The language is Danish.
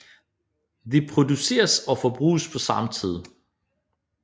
De produceres og forbruges på samme tid